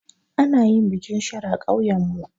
Ana yin bikin sharo a ƙauyanmu.